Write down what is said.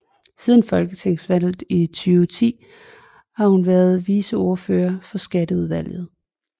Siden folketingsvalget i 2010 har hun været viceordfører for skatteudvalget